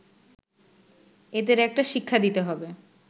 এদের একটা শিক্ষা দিতে হবে